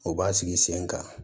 U b'a sigi sen kan